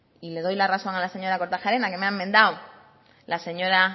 y le doy la razón a la señora kortajarena que me ha enmendado la señora